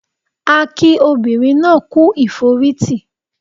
A kí obìnrin náà kú ìforítì